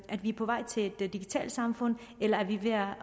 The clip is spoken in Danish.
at vi er på vej til et digitalt samfund eller er